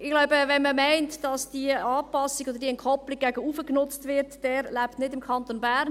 Ich glaube, wer meint, dass diese Anpassung oder diese Entkoppelung nach oben genutzt wird, der lebt nicht im Kanton Bern.